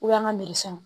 O y'an ka sɔn